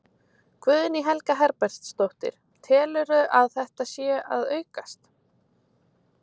Guðný Helga Herbertsdóttir: Telurðu að, að þetta sé að aukast?